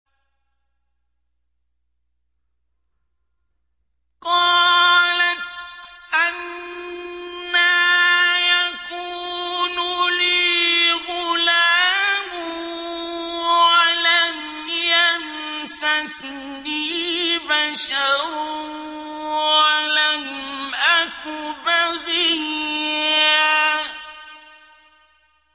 قَالَتْ أَنَّىٰ يَكُونُ لِي غُلَامٌ وَلَمْ يَمْسَسْنِي بَشَرٌ وَلَمْ أَكُ بَغِيًّا